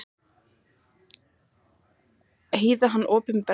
Hýða hann opinberlega!